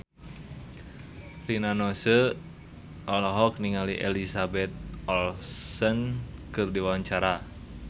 Rina Nose olohok ningali Elizabeth Olsen keur diwawancara